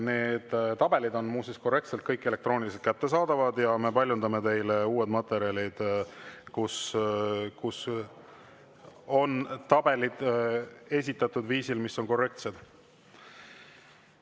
Need tabelid on muuseas kõik elektrooniliselt korrektsena kättesaadavad ja me paljundame teile uued materjalid, kus on tabelid esitatud korrektsel viisil.